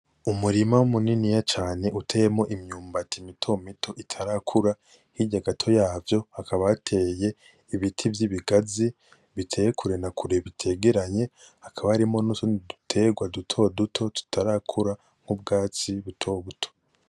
Umurima muniniya cane uteyemwo imyumbati mito mito itarakura, hirya gato yavyo hakaba hateye ibiti vy'ibigazi biteye kure na kure bitegeranye hakaba harimwo n'utundi duterwa duto duto tutarakura, n'ubwatsi buto buto.